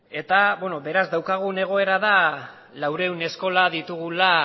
eta beraz daukagun egoera da laurehun eskola ditugula